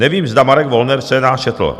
Nevím, zda Marek Wollner scénář četl.